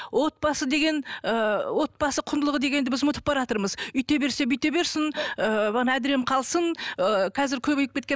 отбасы деген ыыы отбасы құндылығы дегенді біз ұмытып баратырмыз үйте берсе бүйте берсін ыыы әдірем қалсын ыыы қазір көбейіп кеткен